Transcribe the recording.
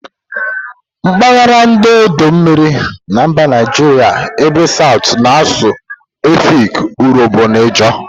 Mpaghara ndi odo mmiri na mba Naijiria ebe southu na-asụ Efik, Urhobo na Ijaw.